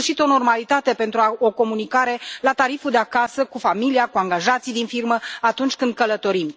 În sfârșit o normalitate pentru o comunicare la tariful de acasă cu familia, cu angajații din firmă, atunci când călătorim.